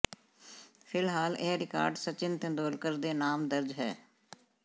ਫਿਲਹਾਲ ਇਹ ਰਿਕਾਰਡ ਸਚਿਨ ਤੇਂਦੁਲਕਰ ਦੇ ਨਾਮ ਦਰਜ਼ ਹੈ